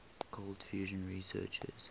cold fusion researchers